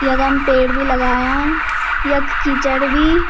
यखम पेड़ बि लगायां यख कीचड़ बी।